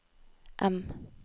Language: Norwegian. M